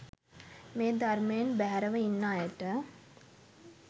මේ ධර්මයෙන් බැහැරව ඉන්න අයට